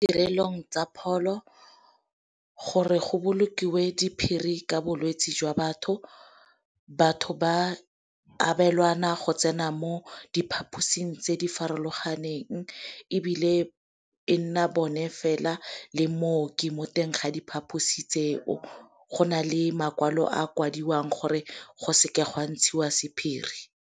Tirelong tsa pholo gore go bolokiwe diphiri ka bolwetsi jwa batho. Batho ba abelwana go tsena mo diphaposing tse di farologaneng, ebile e nna bone fela le mooki mo teng ga diphaposi tse o go nale makwalo a kwadilweng gore go seke go a ntshiwa sephiri.